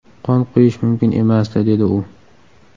Qon quyish mumkin emasdi”, dedi u.